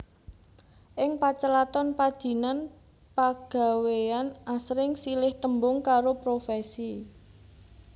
Ing pacelaton padinan pagawéyan asring silih tembung karo profèsi